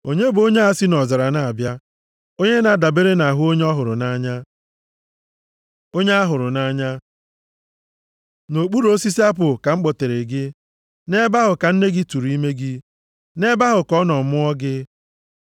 Onye bụ onye a si nʼọzara na-abịa, onye na-adabere nʼahụ onye ọ hụrụ nʼanya. Onye a hụrụ nʼanya Nʼokpuru osisi apụl ka m kpọtere gị; nʼebe ahụ ka nne gị tụrụ ime gị; nʼebe ahụ ka ọ nọ mụọ gị.